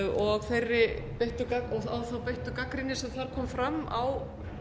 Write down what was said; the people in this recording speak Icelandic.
og á þá beittu gagnrýni sem þar kom fram á